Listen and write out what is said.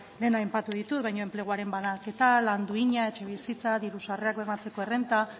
lehen aipatu ditut baina enpleguaren banaketa lan duina etxe bizitza diru sarrerak bermatzeko errenta